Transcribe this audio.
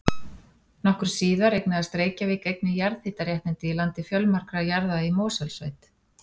Nokkru síðar eignaðist Reykjavík einnig jarðhitaréttindi í landi fjölmargra jarða í Mosfellssveit.